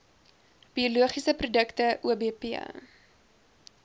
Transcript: biologiese produkte obp